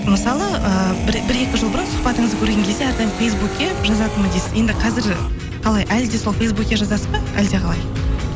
мысалы ыыы бір бір екі жыл бұрын сұхбатыңызды көрген кезде әрдайым фейсбукке жазатынмын дейсіз енді қазір қалай әлі де сол фейсбукке жазасыз ба әлде қалай